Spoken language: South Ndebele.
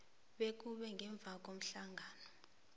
bekube ngemva komhlangano